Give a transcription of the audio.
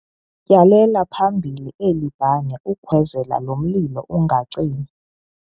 Tyhalela phambili eli bane ukhwezele lo mlilo ungacimi.